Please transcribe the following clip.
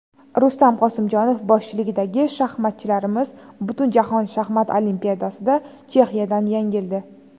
Rustam Qosimjonov boshchiligidagi shaxmatchilarimiz Butunjahon Shaxmat Olimpiadasida Chexiyadan yengildi.